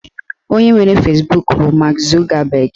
Onye nwe Fezbuk bụ Mak Zugabag